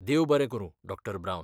देव बरें करूं, डॉ. ब्रावन.